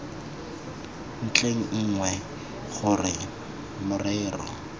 ntlheng e nngwe gore morero